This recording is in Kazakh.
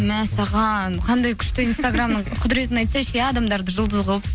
мәссаған қандай күшті инстаграмның құдіретін айтсайшы иә адамдарды жұлдыз қылып